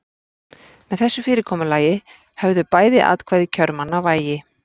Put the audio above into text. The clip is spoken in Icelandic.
Með þessu fyrirkomulagi höfðu bæði atkvæði kjörmanna vægi.